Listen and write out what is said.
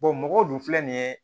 mɔgɔw dun filɛ nin ye